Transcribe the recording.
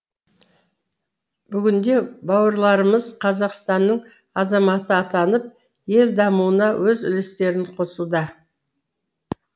бүгінде бауырларымыз қазақстанның азаматы атанып ел дамуына өз үлестерін қосуда